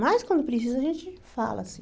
Mas, quando precisa, a gente fala, assim.